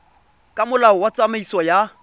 ka molao wa tsamaiso ya